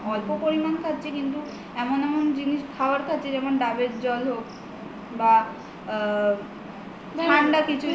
অল্প পরিমান খাচ্ছি কিন্তু এমন এমন জিনিস খাবার খাচ্ছি যেমন ডাবের জল হোক বা ঠান্ডা কিছু